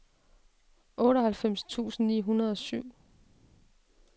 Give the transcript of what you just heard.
otteoghalvfems tusind ni hundrede og syv